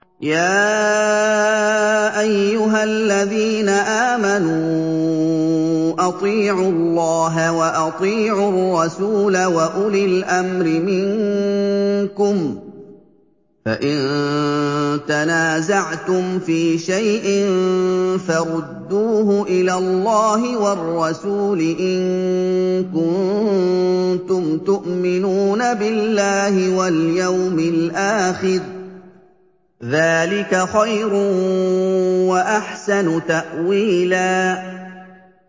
يَا أَيُّهَا الَّذِينَ آمَنُوا أَطِيعُوا اللَّهَ وَأَطِيعُوا الرَّسُولَ وَأُولِي الْأَمْرِ مِنكُمْ ۖ فَإِن تَنَازَعْتُمْ فِي شَيْءٍ فَرُدُّوهُ إِلَى اللَّهِ وَالرَّسُولِ إِن كُنتُمْ تُؤْمِنُونَ بِاللَّهِ وَالْيَوْمِ الْآخِرِ ۚ ذَٰلِكَ خَيْرٌ وَأَحْسَنُ تَأْوِيلًا